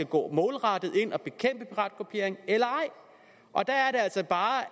gå målrettet ind og bekæmpe piratkopiering eller ej og der er det altså bare